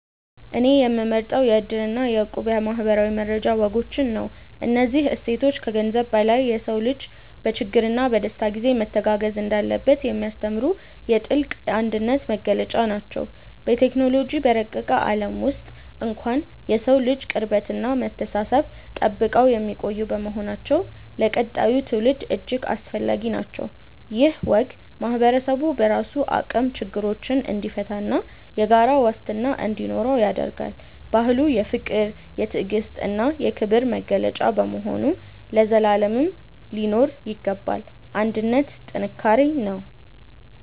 እኔ የምመርጠው የ"እድር" እና የ"እቁብ" የማኅበራዊ መረዳጃ ወጎችን ነው። እነዚህ እሴቶች ከገንዘብ በላይ የሰው ልጅ በችግርና በደስታ ጊዜ መተጋገዝ እንዳለበት የሚያስተምሩ የጥልቅ አንድነት መገለጫዎች ናቸው። በቴክኖሎጂ በረቀቀ ዓለም ውስጥ እንኳን የሰውን ልጅ ቅርበትና መተሳሰብ ጠብቀው የሚቆዩ በመሆናቸው ለቀጣዩ ትውልድ እጅግ አስፈላጊ ናቸው። ይህ ወግ ማኅበረሰቡ በራሱ አቅም ችግሮችን እንዲፈታና የጋራ ዋስትና እንዲኖረው ያደርጋል። ባህሉ የፍቅር፣ የትዕግስትና የክብር መገለጫ በመሆኑ ለዘላለም ሊኖር ይገባል። አንድነት ጥንካሬ ነው።